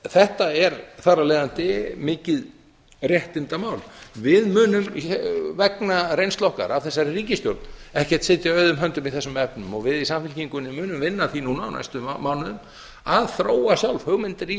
þetta er þar af leiðandi mikið réttindamál við munum vegna reynslu okkar af þessari ríkisstjórn ekkert sitja auðum höndum í þessum efnum við í samfylkingunni munum eina að því núna á næstu mánuðum að þróa sjálf hugmyndir í